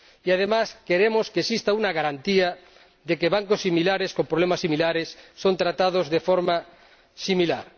Y, además, queremos que exista una garantía de que bancos similares con problemas similares son tratados de forma similar.